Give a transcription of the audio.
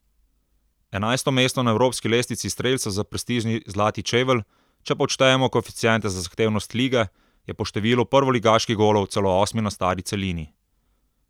Enajsto mesto na evropski lestvici strelcev za prestižni zlati čevelj, če pa odštejemo koeficiente za zahtevnost lige, je po številu prvoligaških golov celo osmi na stari celini.